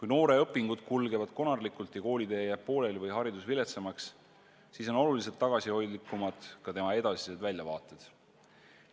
Ja kui õpingud kulgevad konarlikult, koolitee jääb pooleli või haridus lihtsalt viletsamaks, siis on oluliselt tagasihoidlikumad ka noore inimese edasised väljavaated.